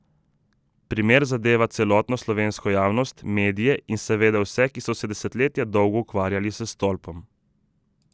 Primer zadeva celotno slovensko javnost, medije in seveda vse, ki so se desetletja dolgo ukvarjali s stolpom.